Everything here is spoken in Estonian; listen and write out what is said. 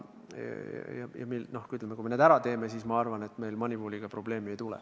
Kui me need ära teeme, siis arvan, et meil MONEYVAL-iga probleeme ei tule.